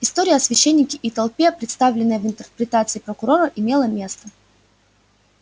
история о священнике и толпе представленная в интерпретации прокурора имела место